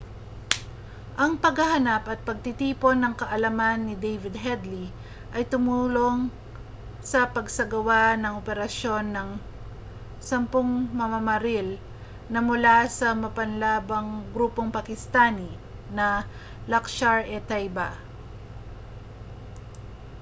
ang paghahanap at pagtitipon ng kaalaman ni david headley ay tumulong sa pagsasagawa ng operasyon ng 10 mamamaril na mula sa mapanlabang grupong pakistani na laskhar-e-taiba